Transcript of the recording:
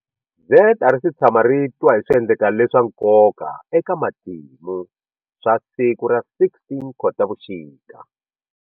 Z a ri si tshama ri twa hi swiendleko leswa nkoka eka matimu swa siku ra 16 Khotavuxika.